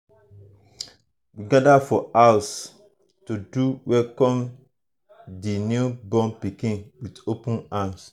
we gather for house um to to welcome di new born pikin with open arms.